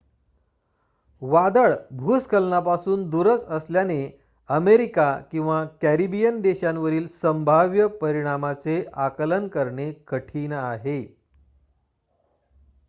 वादळ भूस्खलनापासून दूरच असल्याने अमेरिका किंवा कॅरिबियन देशांवरील संभाव्य परिणामाचे आकलन करणे कठीण आहे